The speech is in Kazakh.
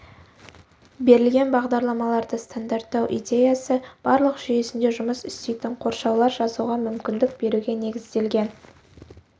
берілген бағдарламаларды стандарттау идеясы барлық жүйесінде жұмыс істейтін қоршаулар жазуға мүмкіндік беруге негізделген